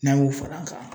N'an y'o fara a kan